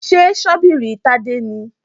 Ṣé ṣọ́bìrì Tádé nìí?